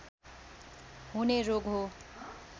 हुने रोग हो